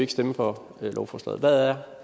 stemme for lovforslaget hvad er